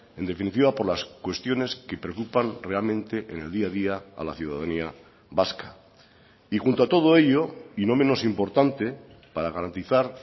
en definitiva por las cuestiones que preocupan realmente en el día a día a la ciudadanía vasca y junto a todo ello y no menos importante para garantizar